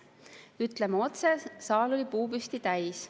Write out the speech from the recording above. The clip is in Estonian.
Ütleme otse, et saal oli puupüsti täis.